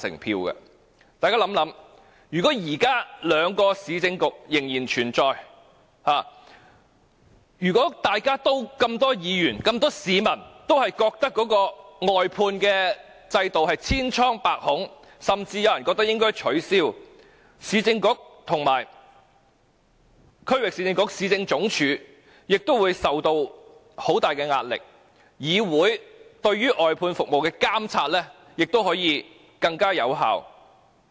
大家想想，如果現在兩個市政局仍然存在，當這麼多議員和市民均認為外判制度千瘡百孔，甚至有人認為應該取消，前市政局及前區域市政局區域局亦會受到很大壓力，議會對於外判服務的監察亦能更有效。